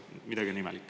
Midagi on imelik.